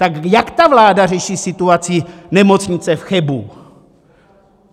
Tak jak ta vláda řeší situaci Nemocnice v Chebu?